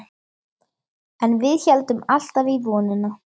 En við héldum alltaf í vonina.